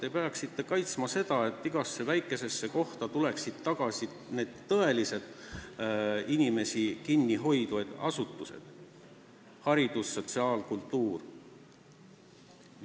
Te peaksite kaitsma seda, et igasse väikesesse kohta tuleksid tagasi tõeliselt inimesi kinni hoidvad asutused: haridus-, sotsiaal- ja kultuuriasutused.